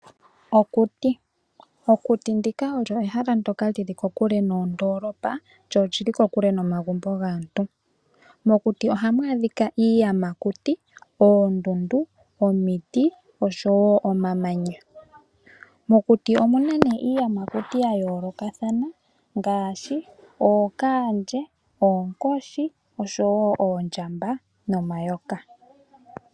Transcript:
Okuti. Okuti olyo ehala ndjoka lili kokule noondoolopa , lyo oli li kokule nomagumbo gaantu. Mokuti ohamu adhika iiyamakuti, oondundu, omiti oshowo omamanya. Mokuti omuna nduno iiyamakuti ya yoolokathana ngaashi ookaandje, oonkoshi, oshowo oondjamba nomayoka.